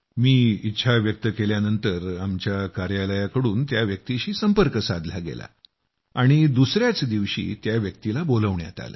मी इच्छा व्यक्त केल्यानंतर आमच्या कार्यालयाकडून त्या व्यक्तीशी संपर्क साधला गेला आणि दुसयाच दिवशी त्या व्यक्तीला बोलावण्यात आलं